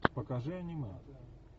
покажи аниме